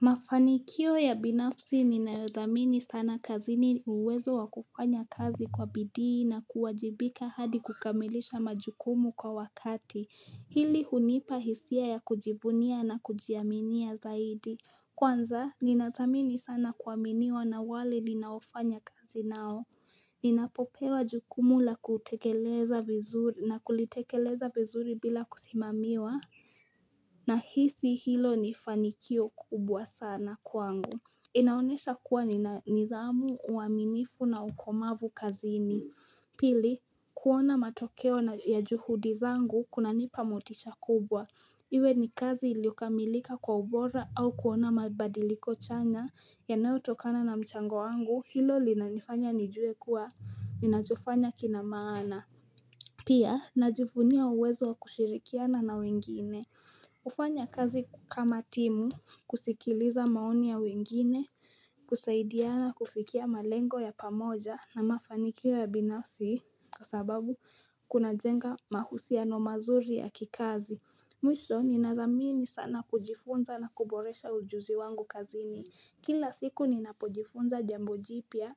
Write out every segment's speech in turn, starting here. Mafanikio ya binafsi ninayo dhamini sana kazini uwezo wa kufanya kazi kwa bidii na kuwajibika hadi kukamilisha majukumu kwa wakati hili hunipa hisia ya kujibunia na kujiaminia zaidi Kwanza ninadhamini sana kuaminiwa na wale ninaofanya kazi nao Ninapo pewa jukumu la kutekeleza vizuri na kulitekeleza vizuri bila kusimamiwa Nahisi hilo ni fanikio kubwa sana kwangu inaonyesha kuwa nina nidhamu uaminifu na ukomavu kazini Pili kuona matokeo ya juhudi zangu kunanipa motisha kubwa iwe ni kazi iliyo kamilika kwa ubora au kuona mabadiliko chanya yanayo tokana na mchango wangu hilo linanifanya nijue kuwa ninachofanya kina maana Pia najivunia uwezo wa kushirikiana na wengine kufanya kazi kama timu, kusikiliza maoni ya wengine, kusaidiana kufikia malengo ya pamoja na mafanikio ya binafsi kwa sababu kuna jenga mahusiano mazuri ya kikazi. Mwisho, nina dhamini sana kujifunza na kuboresha ujuzi wangu kazini. Kila siku ninapojifunza jambo jipya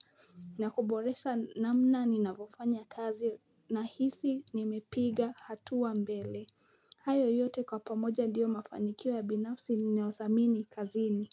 na kuboresha namna ninapo fanya kazi nahisi nimepiga hatua mbele. Hayo yote kwa pamoja ndiyo mafanikio ya binafsi ninayodhamini kazini.